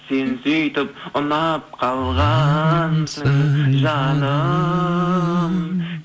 сен сөйтіп ұнап қалғансың жаным